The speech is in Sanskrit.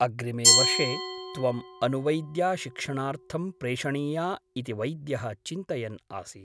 अग्रिमे वर्षे त्वम् अनुवैद्याशिक्षणार्थं प्रेषणीया इति वैद्यः चिन्तयन् आसीत् ।